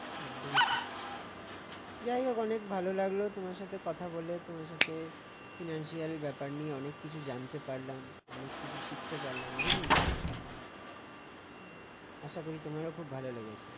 যাই হোক, অনেক ভালো লাগলো তোমার সাথে কথা বলে তোমার সাথে financial ব্যাপার নিয়ে কিছু জানতে পারলাম অনেক কিছু শিখতে পারলাম অনেক information পেলাম আশা করি, তোমার খুব ভালো লেগেছে